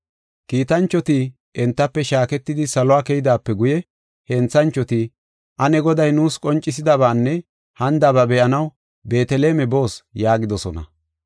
Kiitanchoti entafe shaaketidi saluwa keydaape guye henthanchoti, “Ane Goday nuus qoncisidabaanne hanidaba be7anaw Beeteleme boos” yaagidosona.